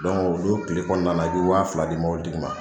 o don kile kɔnɔna na i bɛ wa fila di mɔbili tigi ma.